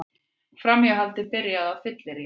Framhjáhaldið byrjaði á fylleríi